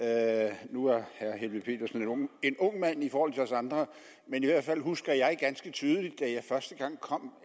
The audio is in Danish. er jo jeg er er helveg petersen en ung mand i forhold til os andre men i hvert fald husker jeg ganske tydeligt da jeg første gang kom